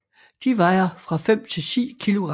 De vejer fra 5 til 10 kilogram